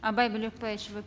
абай булекбаевич вы